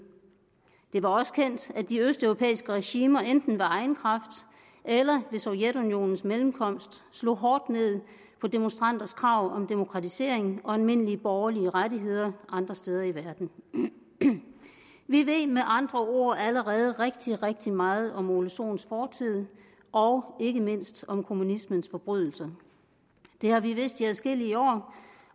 det var også kendt at de østeuropæiske regimer enten ved egen kraft eller ved sovjetunionens mellemkomst slog hårdt ned på demonstranters krav om demokratisering og almindelige borgerlige rettigheder andre steder i verden vi ved med andre ord allerede rigtig rigtig meget om herre ole sohns fortid og ikke mindst om kommunismens forbrydelser det har vi vidst i adskillige år